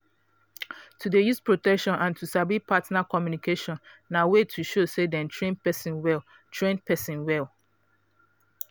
to dey use protection and to sabi partner communication na way to show say dey train person well train person well